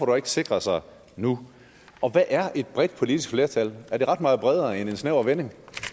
dog ikke sikre sig nu og hvad er et bredt politisk flertal er det ret meget bredere end en snæver vending